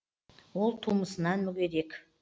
ол тумысынан мүгедек